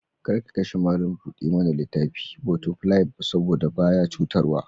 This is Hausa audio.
Kar ka kashe malam buɗa mana littafi/ botafilai saboda ba ya cutarwa.